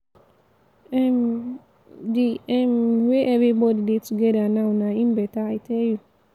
um the um way everybody dey together now na im beta i tell you.